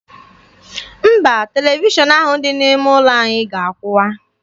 Mba, televishọn ahụ dị n'ime ụlọ anyị ga-akwụwa.